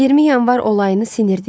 20 yanvar olayını sinirdik.